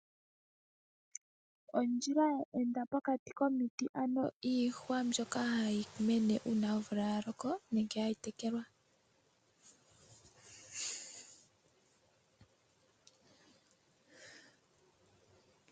Ondjila ya enda pokati komiti, ano iihwa mbyoka hayi mene uuna omvula ya loko nenge hayi tekelwa.